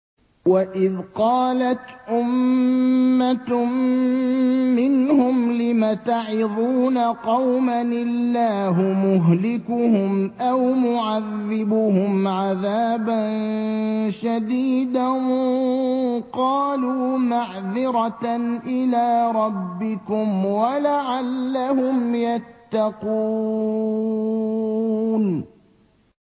وَإِذْ قَالَتْ أُمَّةٌ مِّنْهُمْ لِمَ تَعِظُونَ قَوْمًا ۙ اللَّهُ مُهْلِكُهُمْ أَوْ مُعَذِّبُهُمْ عَذَابًا شَدِيدًا ۖ قَالُوا مَعْذِرَةً إِلَىٰ رَبِّكُمْ وَلَعَلَّهُمْ يَتَّقُونَ